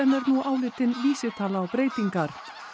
er nú álitin vísitala á breytingar